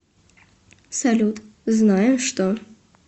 салют знаю что